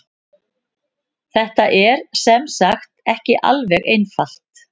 Þetta er sem sagt ekki alveg einfalt.